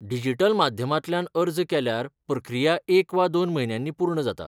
Digital माध्यमांतल्यान अर्ज केल्यार प्रक्रिया एक वा दोन म्हयन्यांनी पूर्ण जाता.